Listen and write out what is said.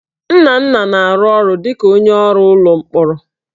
Nnanna na-arụ ọrụ dịka onye ọrụ ụlọ mkpọrọ